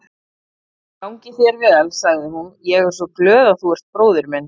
Gangi þér vel, sagði hún, ég er svo glöð að þú ert bróðir minn.